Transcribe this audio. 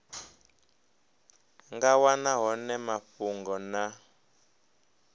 nga wana hone mafhungo na